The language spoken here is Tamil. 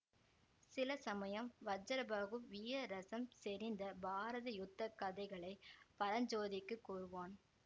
சில சமயம் வஜ்ரபாஹு வீயரஸம் செறிந்த பாரத யுத்த கதைகளை பரஞ்சோதிக்குக் கூறுவான்